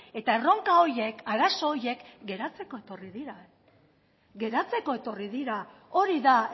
eta erronka horiek arazo horiek geratzeko etorri dira geratzeko etorri dira hori da